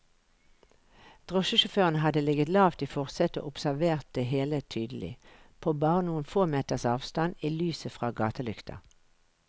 Drosjesjåføren hadde ligget lavt i forsetet og observert det hele tydelig, på bare noen få meters avstand i lyset fra gatelykta.